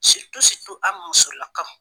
an musolaka.